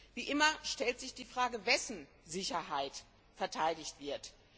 Wie immer stellt sich die Frage, wessen Sicherheit verteidigt wird.